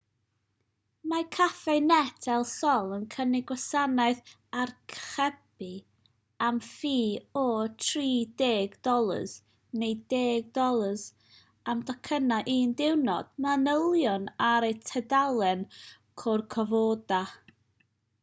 mae cafenet el sol yn cynnig gwasanaeth archebu am ffi o $30 neu $10 am docynnau un diwrnod manylion ar eu tudalen corcovado